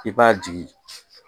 I b'a jigin